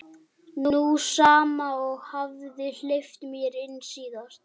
Sú sama og hafði hleypt mér inn síðast.